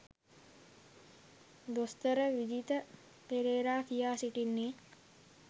දොස්තර විජිත පෙරේරා කියා සිටින්නේ.